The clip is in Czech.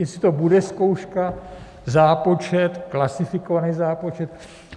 Jestli to bude zkouška, zápočet, klasifikovaný zápočet.